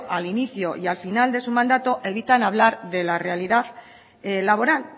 al inicio y al final de su mandato evitan hablar de la realidad laboral